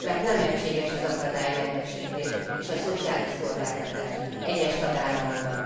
Mert nem egységes az akadálymenetesítés és a szociális szolgáltatás egyes tagállamokban.